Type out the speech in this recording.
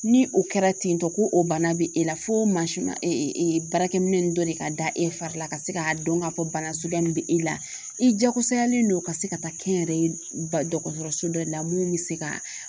Ni o kɛra tentɔ ko o bana bɛ e la fo mansin ma baara kɛ minɛn ninnu dɔ de ka da e fari la ka se k'a dɔn k'a fɔ bana suguya min bɛ e la i jaagosayalen do ka se ka taa kɛnyɛrɛye ba dɔgɔtɔrɔso dɔ la mun bɛ se ka